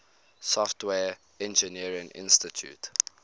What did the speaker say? software engineering institute